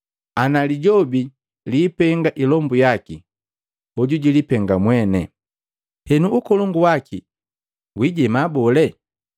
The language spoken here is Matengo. Ana Lijobi liipenga ilombu yaki, hoju jilipenga mwene. Henu, ukolongu waki wiijema bole?